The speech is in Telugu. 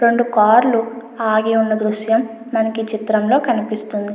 రెండు కార్ లు ఆగి ఉన్న దృశ్యం మనకి ఈ చిత్రంలో కనిపిస్తుంది.